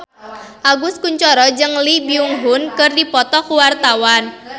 Agus Kuncoro jeung Lee Byung Hun keur dipoto ku wartawan